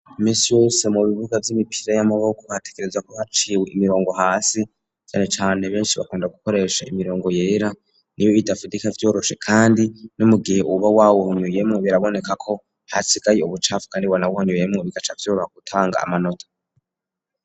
Iminsi yose mu bibuga vy'imipira y'amaboko batekereza ko haciwe imirongo hasi cane cane benshi bakunda gukoresha imirongo yera nibo itafite ika vyoroshe kandi n'umugihe uba wawuhonyoyemwo biraboneka ko hasigaye ubucafu Kandi wanawuhonyoyemwo bigaca vyoroha gutanga amanota.